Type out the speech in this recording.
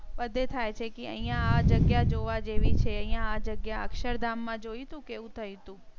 બધી એ થાય છે કે અહિયા આ જગ્યા જોવા જેવી છે. આ જગ્યા અક્ષરધામ માં જોયું. તું કેવું થયું હતું?